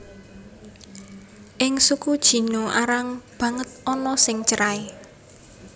Ing suku Jino arang banget ana sing cerai